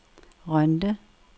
Rønde